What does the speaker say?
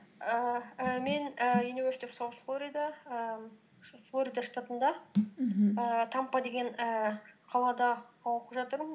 ііі мен і юниверсити оф сауз флорида ііі флорида штатында мхм ііі тампа деген ііі қалада оқып жатырмын